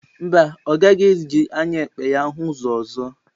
Mba, ọ gaghị eji anya ekpe ya hụ ụzọ ọzọ.